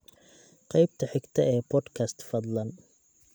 qaybta xigta ee podcast fadlan